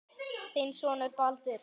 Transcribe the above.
Þinn sonur Baldur.